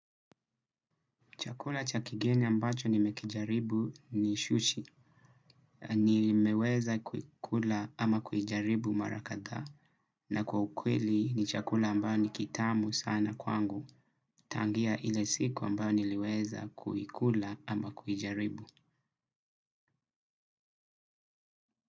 Chakula cha kigeni ambacho nimekijaribu ni shushi. Nimeweza kuikula ama kuijaribu mara kadhaa. Na kwa ukweli ni chakula ambayo ni kitamu sana kwangu. Tangia ile siku ambayo niliweza kukula ama kujaribu.